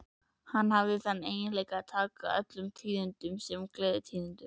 Hann hafði þann eiginleika að taka öllum tíðindum sem gleðitíðindum.